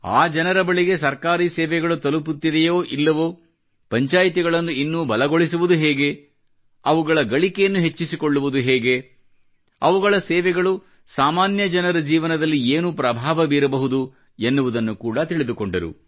ಆ ಜನರ ಬಳಿಗೆ ಸರ್ಕಾರಿ ಸೇವೆಗಳು ತಲುಪುತ್ತಿದೆಯೋ ಇಲ್ಲವೋ ಪಂಚಾಯ್ತಿಗಳನ್ನು ಇನ್ನೂ ಬಲಗೊಳಿಸುವುದು ಹೇಗೆ ಅವುಗಳ ಗಳಿಕೆಯನ್ನ ಹೆಚ್ಚಿಸಿಕೊಳ್ಳುವುದು ಹೇಗೆ ಅವುಗಳ ಸೇವೆಗಳು ಸಾಮಾನ್ಯ ಜನರ ಜೀವನದಲ್ಲಿ ಏನು ಪ್ರಭಾವ ಬೀರಬಹುದು ಎನ್ನುವುದನ್ನು ಕೂಡ ತಿಳಿದುಕೊಂಡರು